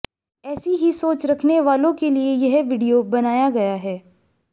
ऐसी ही सोच रखने वालों के लिए यह वीडियो बनाया गया है